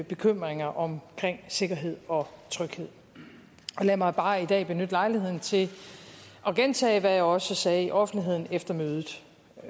bekymringer om sikkerhed og tryghed lad mig bare i dag benytte lejligheden til at gentage hvad jeg også sagde i offentligheden efter mødet